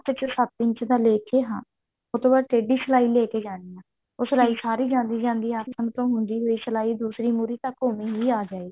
ਚ ਸੱਤ ਇੰਚ ਦਾ ਲੈਕੇ ਹਾਂ ਉਹਤੋਂ ਬਾਅਦ ਟੇਢੀ ਸਲਾਈ ਲੈ ਕੇ ਜਾਣੀ ਆ ਉਹ ਸਲਾਈ ਸਾਰੀ ਜਾਂਦੀ ਜਾਂਦੀ ਆਸਣ ਤੋਂ ਹੁੰਦੀ ਹੋਈ ਦੂਸਰੀ ਮੁਰ੍ਹੀ ਤੱਕ ਓਵੇਂ ਹੀ ਆ ਜਾਇਗੀ